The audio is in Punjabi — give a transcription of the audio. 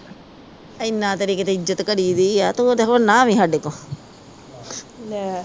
ਇਹਨਾਂ ਤੇਰੀ ਕਿਤੇ ਇੱਜ਼ਤ ਕਰੀ ਦੀਆ ਤੂੰ ਤੇ ਹੁਣ ਨਾ ਆਵੀ ਸਾਡੇ ਕੋ